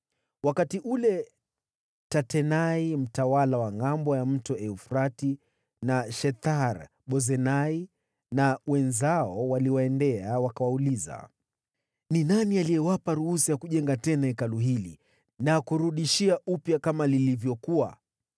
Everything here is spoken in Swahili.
Wakati ule Tatenai mtawala wa ngʼambo ya mto Frati na Shethar-Bozenai na wenzao waliwaendea, wakawauliza, “Ni nani aliyewapa ruhusa ya kujenga tena Hekalu hili na kurudishia upya kama lilivyokuwa?”